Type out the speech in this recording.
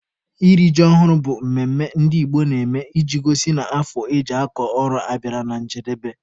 Iri ji ọhụrụ bụ mmemme ndị Igbo na-eme iji gosi na afọ eji akọ ọrụ abịala na njedebe.